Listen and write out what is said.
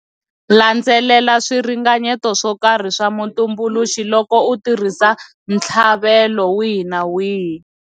Landzelela swiringanyeto swo karhi swa mutumbuluxi loko u tirhisa ntshlavelo wihi na wihi.